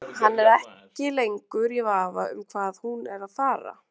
Er frágangur allur á efninu og niðurskipan þess til mikillar fyrirmyndar frá fræðilegu sjónarmiði.